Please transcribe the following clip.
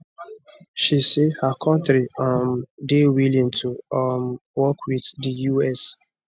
she say her kontri um dey willing to um work wit di us